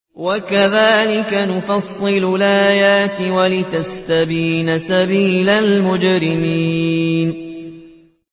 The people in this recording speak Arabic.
وَكَذَٰلِكَ نُفَصِّلُ الْآيَاتِ وَلِتَسْتَبِينَ سَبِيلُ الْمُجْرِمِينَ